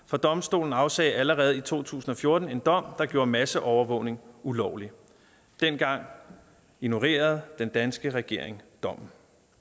for domstolen afsagde allerede i to tusind og fjorten en dom der gjorde masseovervågning ulovlig dengang ignorerede den danske regering dommen